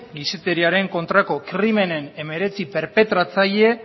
gizateriaren kontrako krimenen hemeretzi perpetratzaile